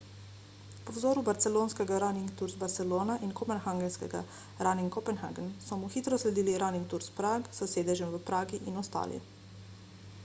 po vzoru barcelonskega running tours barcelona in kopenhagenskega running copenhagen so mu hitro sledili running tours prague s sedežem v pragi in ostali